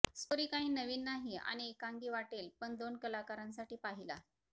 story काही नवीन नाही आणि एकांगी वाटेल पण दोन कलांकारासाठी पाहिला